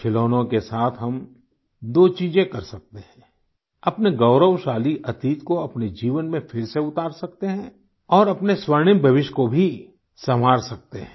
खिलौनों के साथ हम दो चीजें कर सकते हैं अपने गौरवशाली अतीत को अपने जीवन में फिर से उतार सकते हैं और अपने स्वर्णिम भविष्य को भी सँवार सकते हैं